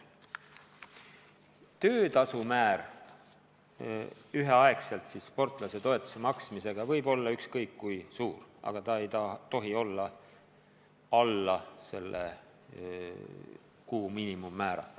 Töötasu määr üheaegselt sportlasetoetuse maksmisega võib olla ükskõik kui suur, aga see ei tohi olla alla kuu miinimummäära.